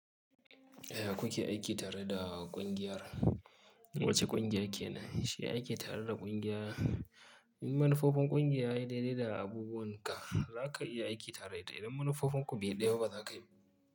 Aya kuke aiki tare da kungiyar, wace kungiya kenan? Shi aiki tare da kungiya, in manufofin kungiya yayi dede da abubuwan ka za ka iya aiki tare da ita, idan manufofin ku be daya ba ba za ka yi.